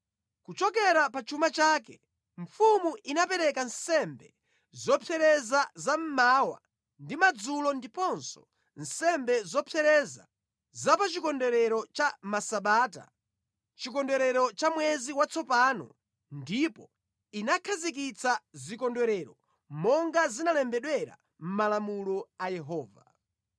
Kuchokera pa chuma chake, mfumu inapereka nsembe zopsereza za mmawa ndi madzulo ndiponso nsembe zopsereza za pa Chikondwerero cha Masabata, Chikondwerero cha Mwezi Watsopano ndipo inakhazikitsa zikondwerero monga zinalembedwera mʼmalamulo a Yehova.